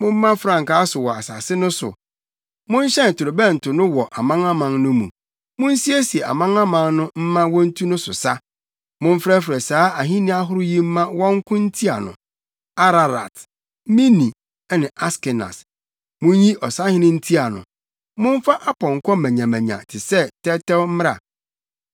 “Momma frankaa so wɔ asase no so! Monhyɛn torobɛnto no wɔ amanaman no mu! Munsiesie amanaman no mma wontu no so sa; Momfrɛfrɛ saa ahenni ahorow yi mma wɔnko ntia no: Ararat, Mini ne Askenas. Munnyi ɔsahene ntia no; momfa apɔnkɔ manyamanya te sɛ tɛwtɛw mmra.